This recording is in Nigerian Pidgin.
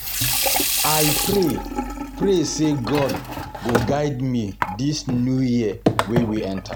I pray pray say God go guide me dis new year wey we enter